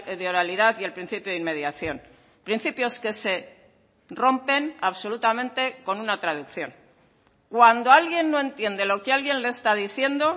de oralidad y el principio de inmediación principios que se rompen absolutamente con una traducción cuando alguien no entiende lo que alguien le está diciendo